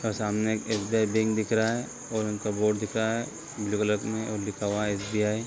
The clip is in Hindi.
और सामने एक एस.बी.आई. बिल्डिंग दिख रहा है और उनपर बोर्ड दिख रहा है ब्लू कलर में और लिखा हुआ है एस.बी.आई. |